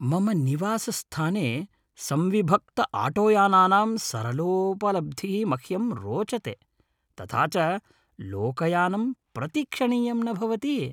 मम निवासस्थाने संविभक्तआटोयानानां सरलोपलब्धिः मह्यं रोचते, तथा च लोकयानं प्रतीक्षणीयं न भवति।